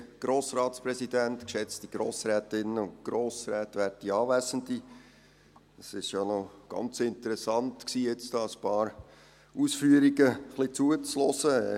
Es war noch ganz interessant, hier einigen dieser Ausführungen zuzuhören.